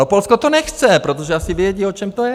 No Polsko to nechce, protože asi vědí, o čem to je.